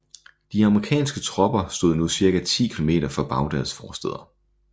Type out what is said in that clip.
De amerikanske tropper stod nu cirka 10 kilometer fra Bagdads forstæder